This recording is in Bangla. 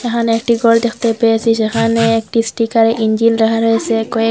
এখানে একটি গর দেখতে পেয়েসি সেখানে একটি স্টিকারে ইঞ্জিন লেখা রয়েসে কয়েক--